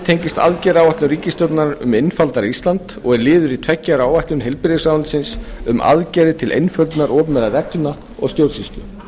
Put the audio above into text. tengist aðgerðaáætlun ríkisstjórnarinnar um einfaldara ísland og er liður í tveggja ára áætlun heilbrigðisráðuneytisins um aðgerðir til einföldunar opinberra reglna og stjórnsýslu